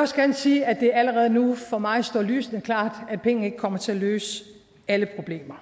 også gerne sige at det allerede nu for mig står lysende klart at penge ikke kommer til at løse alle problemer